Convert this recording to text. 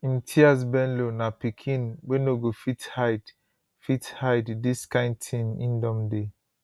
imtiaz bello na pikin wey no go fit hide fit hide dis kain tin im don dey